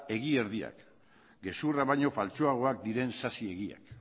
egi erdiak gezurra baino faltsuagoak diren sasi egiak